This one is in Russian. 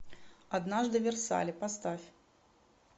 однажды в версале поставь